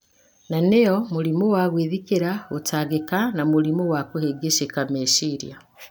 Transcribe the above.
na nĩyo mũrimũ wa gwĩthikĩra, gũtangĩka, na mũrimũ wa kũhĩngĩcĩka meciria.